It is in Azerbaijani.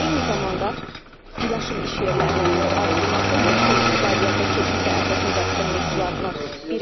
Eyni zamanda yaşıl iş yerlərinin artırılması, yaşıl iqtisadiyyata keçid də əsas müzakirə mövzularından biridir.